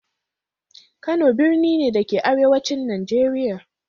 Kano birni ne, da ke a arewacin Najeriya.